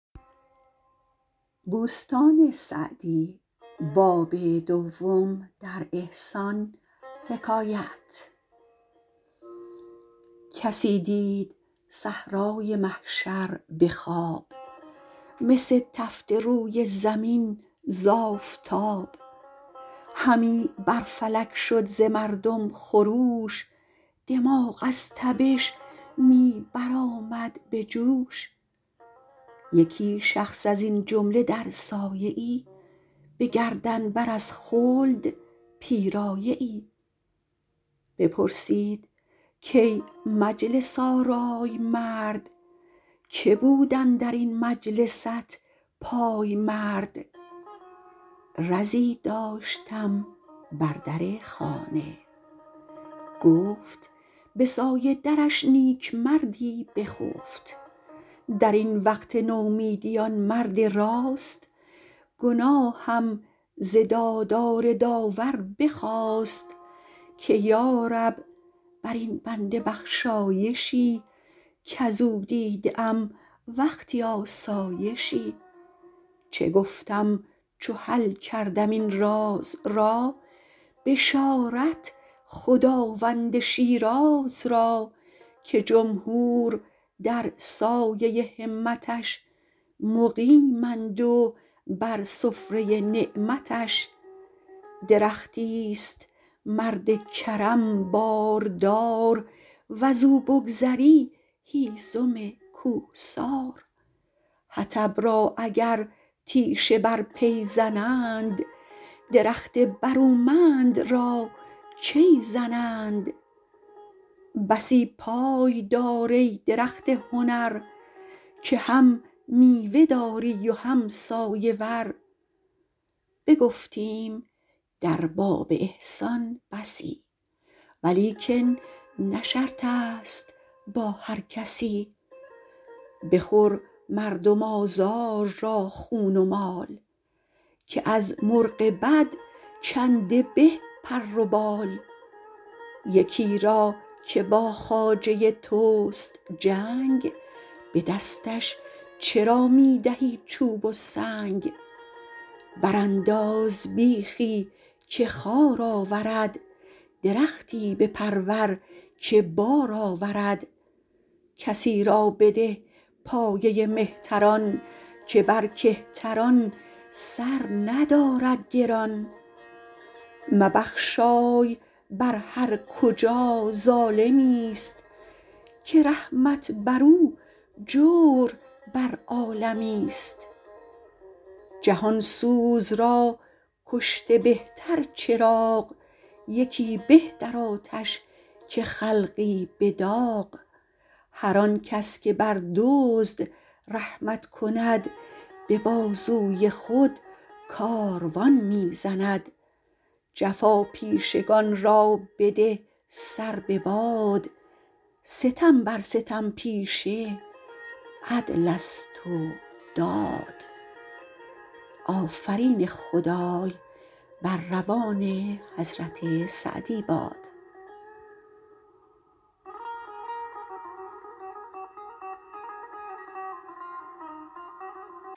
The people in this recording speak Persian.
کسی دید صحرای محشر به خواب مس تفته روی زمین ز آفتاب همی بر فلک شد ز مردم خروش دماغ از تبش می برآمد به جوش یکی شخص از این جمله در سایه ای به گردن بر از خلد پیرایه ای بپرسید کای مجلس آرای مرد که بود اندر این مجلست پایمرد رزی داشتم بر در خانه گفت به سایه درش نیکمردی بخفت در این وقت نومیدی آن مرد راست گناهم ز دادار داور بخواست که یارب بر این بنده بخشایشی کز او دیده ام وقتی آسایشی چه گفتم چو حل کردم این راز را بشارت خداوند شیراز را که جمهور در سایه همتش مقیمند و بر سفره نعمتش درختی است مرد کرم باردار وز او بگذری هیزم کوهسار حطب را اگر تیشه بر پی زنند درخت برومند را کی زنند بسی پای دار ای درخت هنر که هم میوه داری و هم سایه ور بگفتیم در باب احسان بسی ولیکن نه شرط است با هر کسی بخور مردم آزار را خون و مال که از مرغ بد کنده به پر و بال یکی را که با خواجه توست جنگ به دستش چرا می دهی چوب و سنگ بر انداز بیخی که خار آورد درختی بپرور که بار آورد کسی را بده پایه مهتران که بر کهتران سر ندارد گران مبخشای بر هر کجا ظالمی است که رحمت بر او جور بر عالمی است جهان سوز را کشته بهتر چراغ یکی به در آتش که خلقی به داغ هر آن کس که بر دزد رحمت کند به بازوی خود کاروان می زند جفاپیشگان را بده سر بباد ستم بر ستم پیشه عدل است و داد